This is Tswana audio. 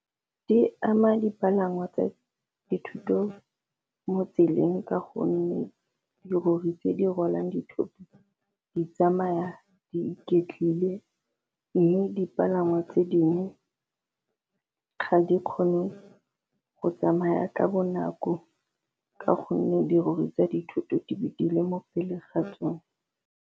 Di ama dipalangwa tsa dithuto mo tseleng ka gonne dirori tse di rwalang dithoto di tsamaya di iketlile, mme dipalangwa tse dingwe ga di kgone go tsamaya ka bonako ka gonne dirori tsa dithoto di be di le mo pele ga tsone.